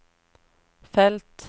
felt